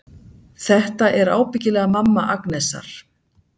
Þetta er ábyggilega mamma Agnesar.